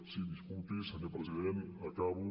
sí disculpi senyor president acabo